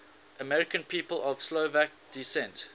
american people of slovak descent